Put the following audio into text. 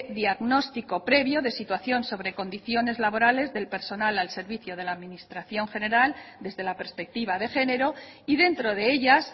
diagnóstico previo de situación sobre condiciones laborales del personal al servicio de la administración general desde la perspectiva de género y dentro de ellas